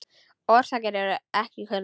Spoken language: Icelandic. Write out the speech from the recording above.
Orsakir eru ekki kunnar.